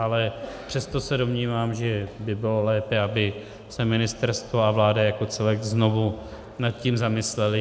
Ale přesto se domnívám, že by bylo lépe, aby se ministerstvo a vláda jako celek znovu nad tím zamyslely.